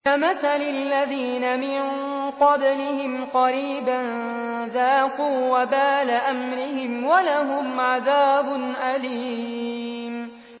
كَمَثَلِ الَّذِينَ مِن قَبْلِهِمْ قَرِيبًا ۖ ذَاقُوا وَبَالَ أَمْرِهِمْ وَلَهُمْ عَذَابٌ أَلِيمٌ